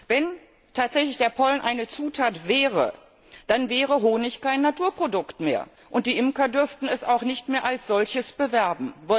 Wenn tatsächlich der Pollen eine Zutat wäre, dann wäre Honig kein Naturprodukt mehr, und die Imker dürften es auch nicht mehr als solches bewerben.